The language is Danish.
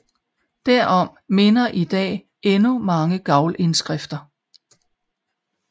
Derom minder i dag endnu mange gavlindskrifter